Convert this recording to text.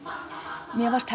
mér fannst